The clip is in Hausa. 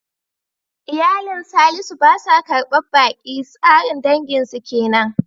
Iyalin Salisu ba sa karbar baki, tsarin danginsu kenan.